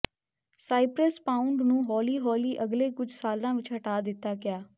Cyprus pound ਨੂੰ ਹੌਲੀ ਹੌਲੀ ਅਗਲੇ ਕੁਝ ਸਾਲਾਂ ਵਿੱਚ ਹਟਾ ਦਿੱਤਾ ਗਿਆ